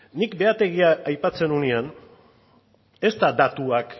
nik behategia aipatzen nuenean ez da datuak